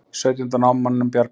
Sautjánda námamanninum bjargað